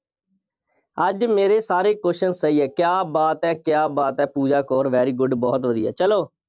ਅੱਜ ਮੇਰੇ ਸਾਰੇ question ਸਹੀ ਹੈ। ਕਿਆਂ ਬਾਤ ਹੈ। ਕਿਆ ਬਾਤ ਹੈ। ਪੂਜਾ ਕੌਰ very good ਬਹੁਤ ਵਧੀਆ। ਚੱਲੋ,